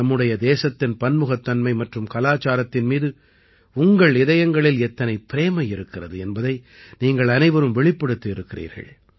நம்முடைய தேசத்தின் பன்முகத்தன்மை மற்றும் கலாச்சாரத்தின் மீது உங்கள் இதயங்களில் எத்தனை பிரேமை இருக்கிறது என்பதை நீங்கள் அனைவரும் வெளிப்படுத்தியிருக்கிறீர்கள்